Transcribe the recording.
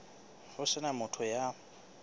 ho se na motho ya